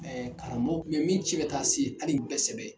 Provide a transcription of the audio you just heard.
Ɛɛ karamɔgɔ u kun be min ci ka taa se hali u bɛɛ sɛbɛ